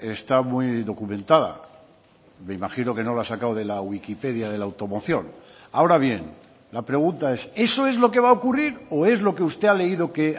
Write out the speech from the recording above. está muy documentada me imagino que no lo ha sacado de la wikipedia de la automoción ahora bien la pregunta es eso es lo que va a ocurrir o es lo que usted ha leído que